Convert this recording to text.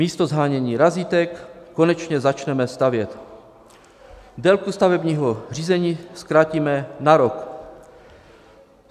Místo shánění razítek konečně začneme stavět, délku stavebního řízení zkrátíme na rok.